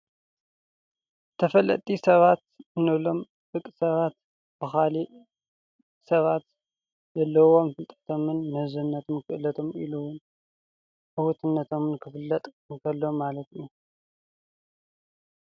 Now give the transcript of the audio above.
ተፈለጥቲ ሰባት እንብሎም ደቂ ሰባት ካብ ካልእ ሰባት ዘለዎም ፍልጦቶምን ምሕዝነቶምን ክእልቶም ኢሉ እውን ተፈላጥነቶም ክፍለጥ እንተሎ ማለት እዩ፡፡